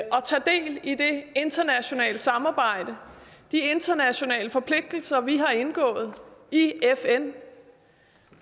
tage del i det internationale samarbejde de internationale forpligtelser vi har indgået i fn